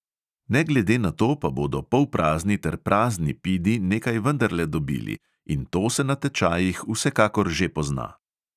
Ne glede na to pa bodo polprazni ter prazni pidi nekaj vendarle dobili, in to se na tečajih vsekakor že pozna.